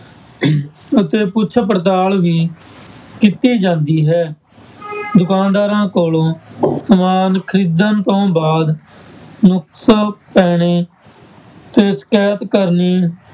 ਅਤੇ ਪੁੱਛ ਪੜਤਾਲ ਵੀ ਕੀਤੀ ਜਾਂਦੀ ਹੈ ਦੁਕਾਨਦਾਰਾਂ ਕੋਲੋਂ ਸਮਾਨ ਖ਼ਰੀਦਣ ਤੋਂ ਬਾਅਦ ਨੁਕਸ ਪੈਣੇ ਤੇ ਸਿਕਾਇਤ ਕਰਨੀ